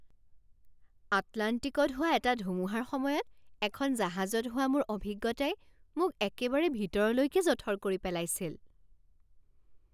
আটলাণ্টিকত হোৱা এটা ধুমুহাৰ সময়ত এখন জাহাজত হোৱা মোৰ অভিজ্ঞতাই মোক একেবাৰে ভিতৰলৈকে জঠৰ কৰি পেলাইছিল!